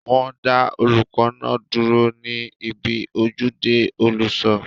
Wọ́n dá olùkọ́ náà dúró ní ibi ojúde olùṣọ